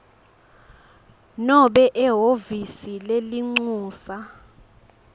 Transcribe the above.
nobe ehhovisi lelincusa